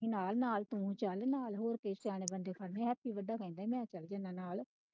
ਯਾਰ ਨਾਲ ਤੂੰ ਚਲ ਹੋਰ ਨਾਲ ਸਿਆਣੇ ਬੰਦੇ ਖੜਨੇ ਆ ਮੈਂ ਚਲ ਜਾਣਾ ਨਾਲ।